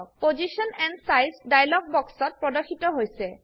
position and size dialog box ত প্রদর্শিত হৈছে